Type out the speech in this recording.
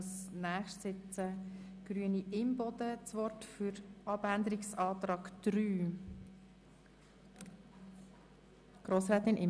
Als nächste Antragstellerin hat Grossrätin Imboden das Wort zur Begründung des Abänderungsantrags 3.